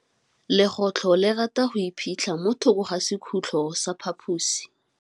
Legôtlô le rata go iphitlha mo thokô ga sekhutlo sa phaposi.